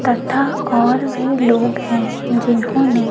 तथा और भी लोग हैं जिन्होंने--